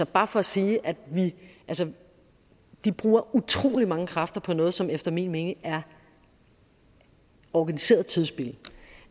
bare for at sige at de bruger utrolig mange kræfter på noget som efter min mening er organiseret tidsspilde